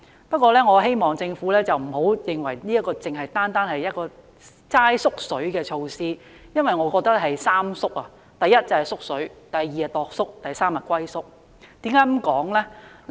不過，我希望政府不要認為這只是一項"縮水"措施，我認為它是"三縮"才對：一、是"縮水"；二、是"鐸叔"；及三、是"龜縮"。